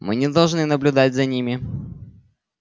мы не должны наблюдать за ними